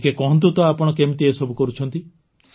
ଟିକେ କୁହନ୍ତୁ ତ ଆପଣ କେମିତି ଏସବୁ କରୁଛନ୍ତି